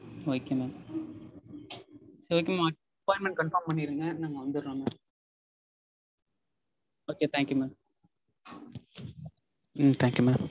Okay mam. Okay mam appointment confirm பண்ணிருங்க நாங்க வந்துடறோம் Mam. Okay thank you mam. உம் thank you mam.